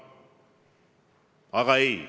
Aga ei.